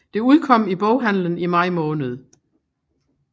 Det udkom i boghandelen i maj måned